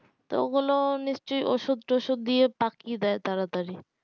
তো ওগুলো নিশ্চই ওষুধ টুসুদ দিয়ে পাকিয়ে দেয় তারা তারি